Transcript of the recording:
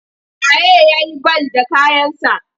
Wa ye ya yi bal da kayansa?